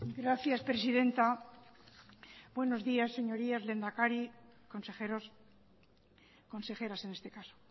gracias presidenta buenos días señorías lehendakari consejeros consejeras en este caso